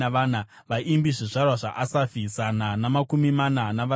Vaimbi: zvizvarwa zvaAsafi, zana namakumi mana navasere.